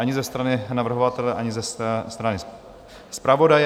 Ani ze strany navrhovatele, ani ze strany zpravodaje.